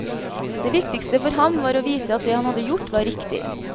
Det viktigste for ham var å vite at det han hadde gjort, var riktig.